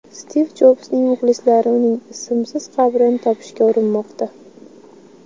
Stiv Jobsning muxlislari uning ismsiz qabrini topishga urinmoqda.